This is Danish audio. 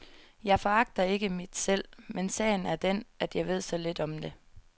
Jeg foragter ikke mit selv, men sagen er den at jeg ved så lidt om det.